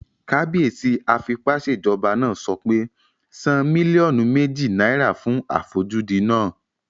Kábíyèsí afipásèjọba náà sọ pé "san mílíọ̀nù méjì náírà fún àfojúdi náà!"